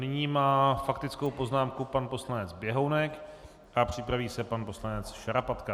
Nyní má faktickou poznámku pan poslanec Běhounek a připraví se pan poslanec Šarapatka.